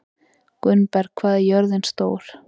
Gunnberg, hvað er jörðin stór?